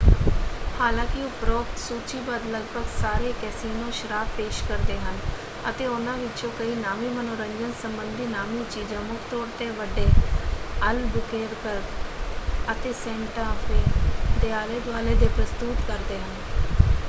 ਹਾਲਾਂਕਿ ਉਪਰੋਕਤ ਸੂਚੀਬੱਧ ਲਗਭਗ ਸਾਰੇ ਕੈਸੀਨੋ ਸ਼ਰਾਬ ਪੇਸ਼ ਕਰਦੇ ਹਨ ਅਤੇ ਉਨ੍ਹਾਂ ਵਿੱਚੋਂ ਕਈ ਨਾਮੀ ਮਨੋਰੰਜਨ ਸੰਬੰਧੀ ਨਾਮੀ ਚੀਜ਼ਾਂ ਮੁੱਖ ਤੌਰ ਤੇ ਵੱਡੇ ਅਲਬੂਕੇਰਕ ਅਤੇ ਸੈਂਟਾ ਫੇ ਦੇ ਆਲੇ ਦੁਆਲੇ ਦੇ ਪ੍ਰਸਤੁਤ ਕਰਦੇ ਹਨ।